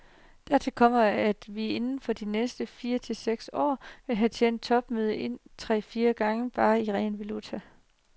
Dertil kommer, at vi inden for de næste fire til seks år vil have tjent topmødet ind tre til fire gange, bare i ren valuta.